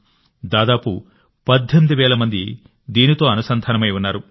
దాదాపు 18 వేల మంది దీనితో అనుసంధానమై ఉన్నారు